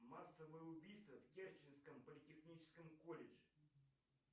массовое убийство в керченском политехническом колледже